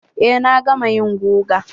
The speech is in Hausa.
Eh na gama yin guga.